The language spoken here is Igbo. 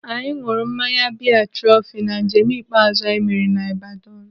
Anyị nụrụ mmanya biya Trọfi na njem ikpeazụ anyị mere n'Ibadan.